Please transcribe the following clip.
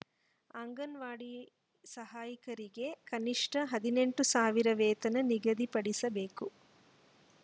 ಅಂಗನವಾಡಿ ಸಾಹಯಕಿಯರಿಗೆ ಕನಿಷ್ಟ ಹದಿನೆಂಟು ಸಾವಿರ ವೇತನ ನಿಗದಿಪಡಿಸಬೇಕು